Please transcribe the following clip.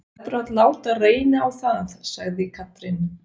Þú verður að láta reyna á það, sagði Katrín.